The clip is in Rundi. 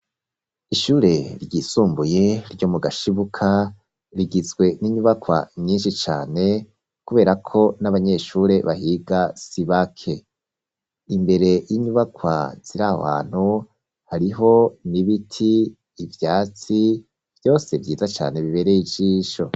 Ishure ryisumbuye, ryo mu Gashibuka, rigizwe n'inyubakwa nyinshi cane, kubera ko, n'abanyeshure bahiga sibake; imbere y'inyubakwa ziri aho hantu, hariho n'ibiti, ivyatsi, vyose vyiza cane, bibereye ijisho.